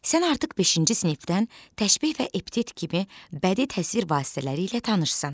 Sən artıq beşinci sinifdən təşbeh və epitet kimi bədii təsvir vasitələri ilə tanışsan.